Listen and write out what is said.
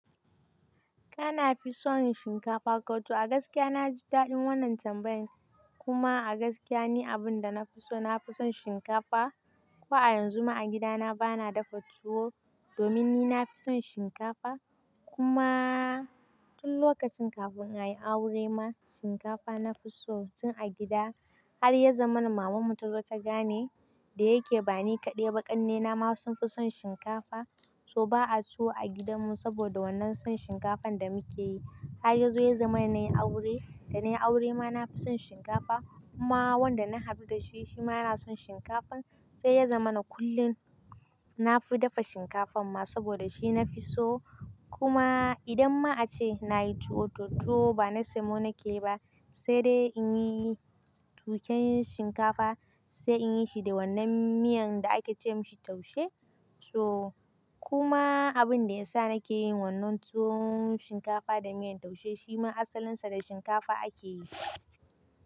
Kana fi son shinkafa, ko too a gaskiya na ji daɗin wannan tambayan. Kuma a gaskiya ne abin da na fi so, na fi son shinkafa. Ko a yanzu ma a gidana ba na dafa tuwo domin ni na fi son shinkafa. Kuma tun lokacin kafin in yi aure ma shinkafa na fi so tun a gida. Har ya zama maman mu ta zo ta gane da yake ba ni kaɗai ba ƙannena ma sun fi son shinkafa. So ba a tuwo a gidanmu saboda wannan son shinkafan da muke yi. Har ya zo ya zama na yi aure, da na yi aure ma na fi son shinkafa. Kuma wanda na haɗu da shi, shi ma yana son shinkafa. Sai ya zama na kullum na fi dafa shinkafan ma saboda shi na fi so. Kuma idan ma a ce na yi tuwo, to too ba na samo na ke ba. Sai dai in yi tuƙen shinkafa, sai in yi shi da wannan miyan da ake ce masa taushe. So kuma abin da ya sa na ke yin wannan tuwon shinkafa da miyar taushe shi ma asalinsa da shinkafa ake yi.